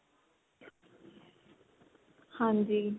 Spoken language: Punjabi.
ਹਾਂਜੀ